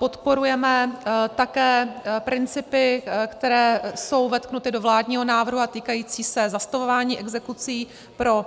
Podporujeme také principy, které jsou vetknuty do vládního návrhu a týkají se zastavování exekucí pro